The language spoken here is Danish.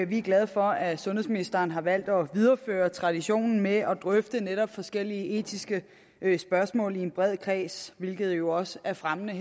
vi er glade for at sundhedsministeren har valgt at videreføre traditionen med at drøfte netop forskellige etiske spørgsmål i en bred kreds hvilket jo også er fremmende